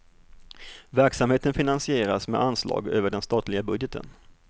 Verksamheten finansieras med anslag över den statliga budgeten.